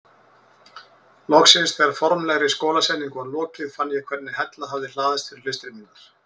Loksins þegar formlegri skólasetningu var lokið fann ég hvernig hella hafði hlaðist fyrir hlustir mínar.